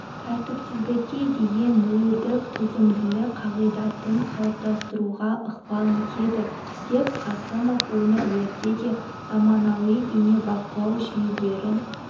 тәртіпсіздікке деген нөлдік төзімділік қағидатын қалыптастыруға ықпал етеді деп қасымов өңірлерде де заманауи бейнебақылау жүйелерін